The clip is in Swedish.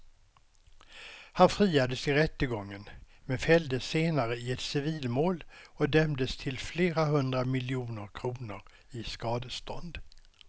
Han friades i rättegången men fälldes senare i ett civilmål och dömdes till flera hundra miljoner kronor i skadestånd.